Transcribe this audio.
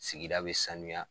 Sigida bɛ sanuya.